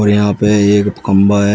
यहां पे एक खंभा है।